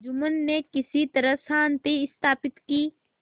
जुम्मन ने किसी तरह शांति स्थापित की